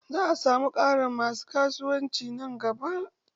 Za'a samu ƙarin masu ƙasuwanci nan gaba.